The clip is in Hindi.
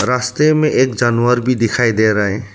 रास्ते में एक जानवर भी दिखाई दे रहा है।